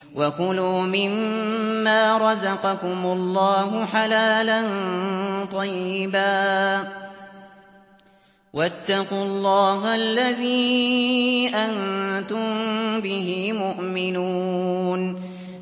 وَكُلُوا مِمَّا رَزَقَكُمُ اللَّهُ حَلَالًا طَيِّبًا ۚ وَاتَّقُوا اللَّهَ الَّذِي أَنتُم بِهِ مُؤْمِنُونَ